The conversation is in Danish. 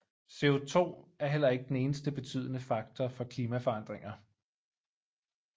CO2 er heller ikke den eneste betydende faktor for klimaforandringer